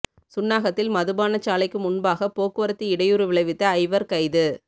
சுன்னாகத்தில் மதுபானச் சாலைக்கு முன்பாக போக்குவரத்துக்கு இடையூறு விளைவித்த ஐவர் கைது